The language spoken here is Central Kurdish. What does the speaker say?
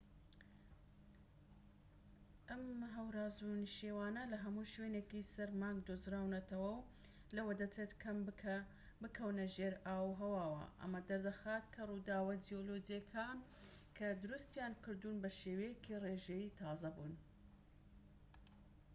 ئەم هەوراز و نشێوانە لە هەموو شوێنێکی سەر مانگ دۆزراونەتەوە و لەوە دەچێت کەم بکەونە ژێر ئاوهەواوە ئەمە دەردەخات کە ڕووداوە جیولۆجیەکان کە دروستیانی کردوون بە شێوەیەکی ڕێژەیی تازە بوون